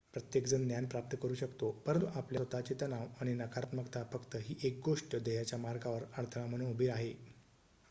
प्रत्येकजण ज्ञान प्राप्त करू शकतो परंतु आपल्या स्वतःचे तणाव आणि नकारात्मकता फक्त ही एक गोष्ट ध्येयाच्या मार्गावर अडथळा म्हणून उभी आहे